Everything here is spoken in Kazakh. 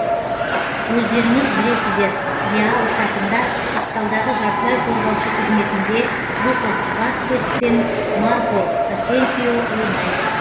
өздеріңіз білесіздер реал сапында қапталдағы жартылай қорғаушы қызметінде лукас васкес пен марко асенсио ойнайды